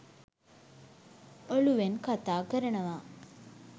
ඔලූවෙන් කතා කරනවා.